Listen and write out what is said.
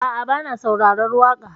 A'a, bana saurarar waƙa.